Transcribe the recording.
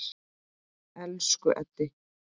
Elsku Eddi.